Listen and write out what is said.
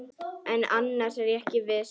Annars er ég ekki viss.